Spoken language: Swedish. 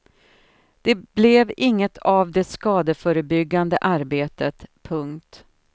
Det blev inget av det skadeförebyggande arbetet. punkt